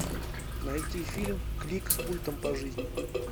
найти фильм клик с пультом по жизни